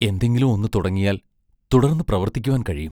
എന്തെങ്കിലും ഒന്നു തുടങ്ങിയാൽ തുടർന്നു പ്രവർത്തിക്കുവാൻ കഴിയും.